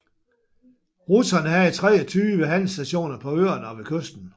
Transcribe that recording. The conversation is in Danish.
Russerne havde 23 handelsstationer på øerne og ved kysten